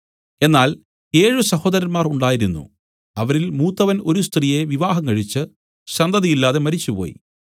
എന്നാൽ ഏഴ് സഹോദരന്മാർ ഉണ്ടായിരുന്നു അവരിൽ മൂത്തവൻ ഒരു സ്ത്രീയെ വിവാഹംകഴിച്ച് സന്തതിയില്ലാതെ മരിച്ചുപോയി